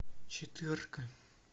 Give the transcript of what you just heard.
четверка